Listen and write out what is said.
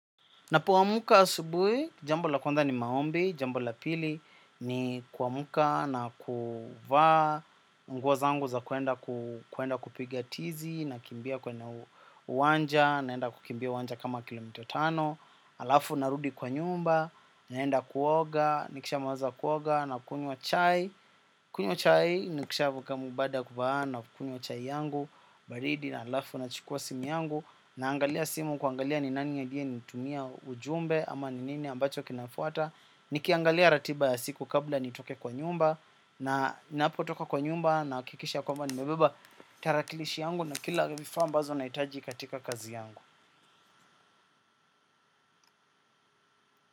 Napoamka asubui, jambo la kwanza ni maombi, jambo la pili ni kuamka na kuvaa, nguo zangu za kwenda kupiga tizi, nakimbia kwenye uwanja, naenda kukimbia uwanja kama kilomita tano, alafu narudi kwa nyumba, naenda kuoga, nikishamaliza kuoga, nakunywa chai, kunywa chai, nikishavuka mu baada ya kuvaa na kunywa chai yangu, baridi, na alafu nachukua simu yangu, naangalia simu kuangalia ni nani aliyenitumia ujumbe ama ni nini ambacho kinafuata. Nikiangalia ratiba ya siku kabla nitoke kwa nyumba. Na ninapotoka kwa nyumba nahakikisha kwamba nimebeba tarakilishi yangu na kila vifaa ambazo naitaji katika kazi yangu.